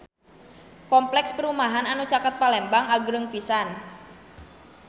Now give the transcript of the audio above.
Kompleks perumahan anu caket Palembang agreng pisan